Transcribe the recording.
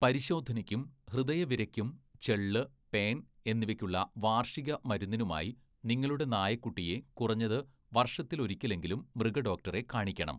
പരിശോധനക്കും ഹൃദയവിരയ്ക്കും ചെള്ള്, പേൻ എന്നിവയ്ക്കുള്ള വാർഷിക മരുന്നിനുമായി നിങ്ങളുടെ നായക്കുട്ടിയെ കുറഞ്ഞത് വർഷത്തിലൊരിക്കലെങ്കിലും മൃഗഡോക്ടറെ കാണിക്കണം.